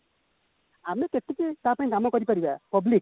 ଆମେ କେଟିକି ତା ପାଇଁ କାମ କରିପାରିବ public